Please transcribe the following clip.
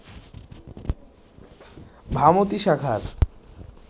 ভামতী শাখার